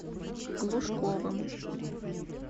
глушковым